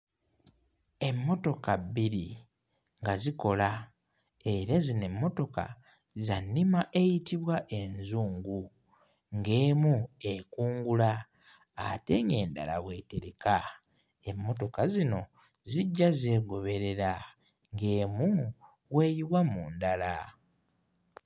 Emmotoka bbiri nga zikola era zino emmotoka za nnima eyitibwa enzungu, ng'emu ekungula ate ng'endala bw'etereka, emmotoka zino zijja zeegoberera ng'emu bw'eyiwa mu ndala.